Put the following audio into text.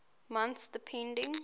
months depending